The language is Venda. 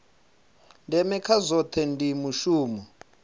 ndeme kha zwohe ndi mushumo